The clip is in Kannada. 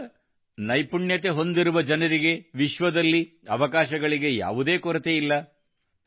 ಈಗ ನೈಪುಣ್ಯತೆ ಹೊಂದಿರುವ ಜನರಿಗೆ ವಿಶ್ವದಲ್ಲಿ ಅವಕಾಶಗಳಿಗೆ ಯಾವುದೇ ಕೊರತೆಯಿಲ್ಲ